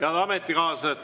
Head ametikaaslased!